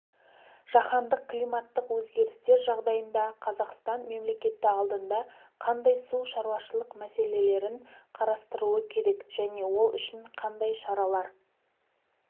жаһандық климаттық өзгерістер жағдайында қазақстан мемлекеті алдында қандай су шаруашылық мәселелерін қарастыруы керек және ол үшін қандай шаралар